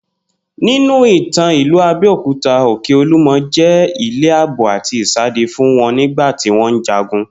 Ninu ìtàn ìlú Abé̩okuta, Òkè Olúmo̩ jé̩ ilé àbò àti ìsádi fún wo̩n nígbà tí wó̩n ń jagun